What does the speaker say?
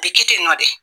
A bɛ kɛ ten tɔ de